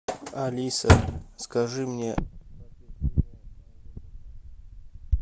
алиса скажи мне